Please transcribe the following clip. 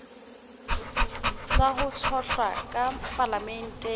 sa ho tshohlwa ka palamenteng